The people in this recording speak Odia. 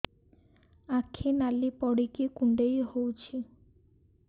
ଆଖି ନାଲି ପଡିକି କୁଣ୍ଡେଇ ହଉଛି